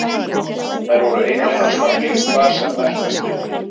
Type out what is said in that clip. Þær voru ein og ein á stangli hvar sem verkast vildi.